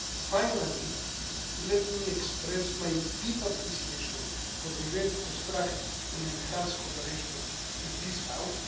Finally, let me express my deep appreciation for the very constructive and enhanced cooperation with this House.